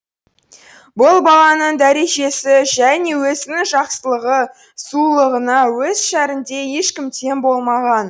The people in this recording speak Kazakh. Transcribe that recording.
бұл баланың дәрежесі және өзінің жақсылығы сұлулығына өз шәрінде ешкім тең болмаған